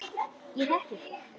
Ég þekki þig.